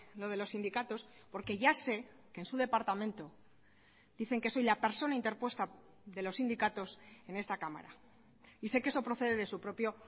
lo de los sindicatos porque ya sé que en su departamento dicen que soy la persona interpuesta de los sindicatos en esta cámara y sé que eso procede de su propio